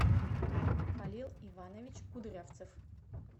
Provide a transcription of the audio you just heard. халил иванович кудрявцев